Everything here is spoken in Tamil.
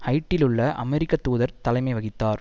ஹைட்டியிலுள்ள அமெரிக்க தூதர் தலைமை வகித்தார்